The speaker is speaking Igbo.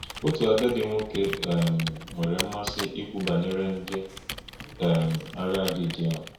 Otu agadi nwoke um nwere mmasị ikwu banyere ndị um agha Gidiọn.